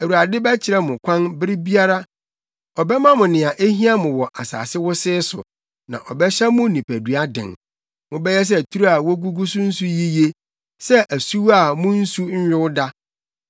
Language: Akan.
Awurade bɛkyerɛ mo kwan bere biara; ɔbɛma mo nea ehia mo wɔ asase wosee so na ɔbɛhyɛ mo nipadua den. Mobɛyɛ sɛ turo a wogugu so nsu yiye, sɛ asuwa a mu nsu nyow da.